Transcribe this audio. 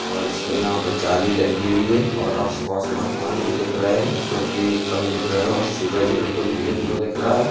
और स यहाँ पे जाली लगी हुई हैं और आस-पास मकान भी दिख रहे हैं जोकि कम दिख रहे है और सूरज बिल्कुल येलो दिख रहा है।